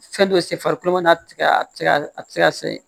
Fɛn dɔ se farikolo ma tigɛ a ti se ka a tɛ se ka se